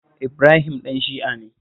Ibrahim ɗan Shi'a ne